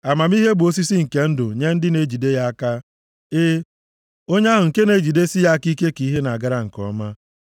Amamihe bụ osisi nke ndụ + 3:18 \+xt Jen 2:9; Ilu 11:30; Ilu 15:4; Mkp 2:7\+xt* nye ndị na-ejide ya aka, e, onye ahụ nke na-ejidesi ya aka ike ka ihe na-agara nke ọma.